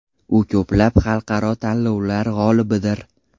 U ko‘plab xalqaro tanlovlar g‘olibidir.